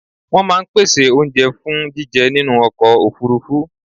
Wọ́n máa ń pèsè oúnjẹ fún jíjẹ nínú ọkọ̀ òfurufú.